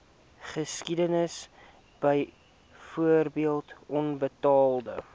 geskiedenis byvoorbeeld onbetaalde